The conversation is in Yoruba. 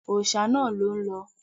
Òòṣà náà ló ń lọ